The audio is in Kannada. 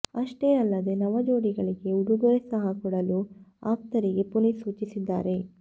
ಅಷ್ಟೆ ಅಲ್ಲದೇ ನವಜೋಡಿಗಳಿಗೆ ಉಡುಗೊರೆ ಸಹ ಕೊಡಲು ಆಪ್ತರಿಗೆ ಪುನೀತ್ ಸೂಚಿಸಿದ್ದಾರೆ